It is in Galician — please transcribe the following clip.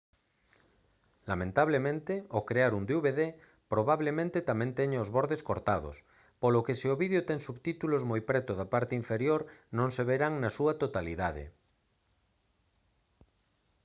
lamentablemente ao crear un dvd probablemente tamén teña os bordes cortados polo que se o vídeo ten subtítulos moi preto da parte inferior non se verán na súa totalidade